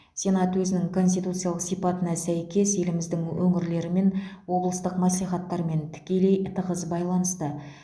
сенат өзінің конституциялық сипатына сәйкес еліміздің өңірлерімен облыстық мәслихаттармен тікелей тығыз байланыста